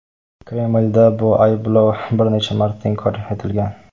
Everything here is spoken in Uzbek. Kremlda bu ayblov bir necha marta inkor etilgan.